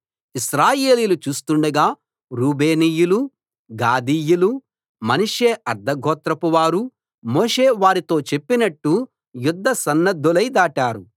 ఇశ్రాయేలీయులు చూస్తుండగా రూబేనీయులూ గాదీయులూ మనష్షే అర్థగోత్రపు వారూ మోషే వారితో చెప్పినట్టు యుద్ధసన్నద్ధులై దాటారు